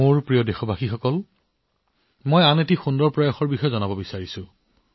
এই প্ৰচেষ্টাটো হল কেৱল ভাৰততে নহয় সমগ্ৰ বিশ্বতে আমাৰ প্ৰাচীন গ্ৰন্থ আৰু সাংস্কৃতিক মূল্যবোধক জনপ্ৰিয় কৰা